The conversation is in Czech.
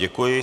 Děkuji.